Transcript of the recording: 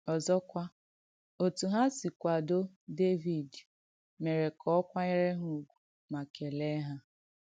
Ọ̀zọ́kwà, òtù ha sì kwàdò Dévìd mèrè kà ọ̀ kwànyèrè ha ùgwù mà kèleè ha.